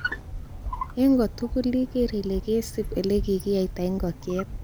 En kotugul ikeer ile kesib ele kikiyaita ingokyet.